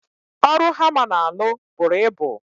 Ọrụ hama na alụ bụrụ ịbụ